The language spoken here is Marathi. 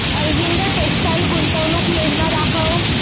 अरविंद टेक्स्टाइल गुंतवणूक योजना दाखव